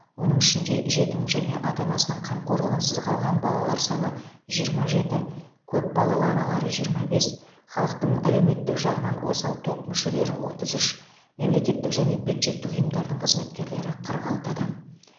оның ішінде жетім және ата анасының қамқорлығынсыз қалған балалар саны жиырма жеті көп балалы аналар жиырма бес халықтың әлеуметтік жағынан осал топ мүшелері отыз үш мемлекеттік және бюджеттік ұйымдардың қызметкерлері қырық алты адам